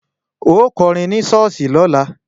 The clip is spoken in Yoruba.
Ó kọrin ní ṣọ́ọ̀ṣì lọ́la!